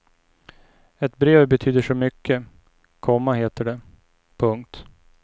Ett brev betyder så mycket, komma heter det. punkt